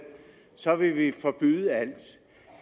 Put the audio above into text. så vil vi forbyde alt